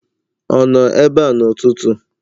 Ọ nọ ebe a n'ụtụtụ?